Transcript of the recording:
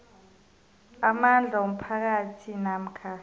amandla womphakathi namkha